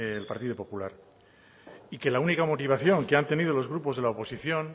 del partido popular y que la única motivación que han tenido los grupos de la oposición